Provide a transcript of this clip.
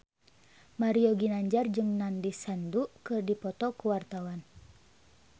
Mario Ginanjar jeung Nandish Sandhu keur dipoto ku wartawan